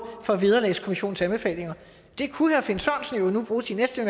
for vederlagskommissionens anbefalinger det kunne herre finn sørensen jo nu bruge sin næste